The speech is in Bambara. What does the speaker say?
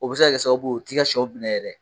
O bɛ se ka sababu ye o t'i ka sɛw minɛ yɛrɛ